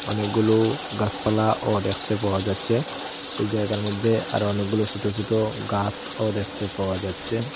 অনেকগুলো গাসপালাও দেখতে পাওয়া যাচ্ছে সেই জায়গার মধ্যে অরো অনেকগুলো সোট সোট গাসও দেখতে পাওয়া যাচ্ছে।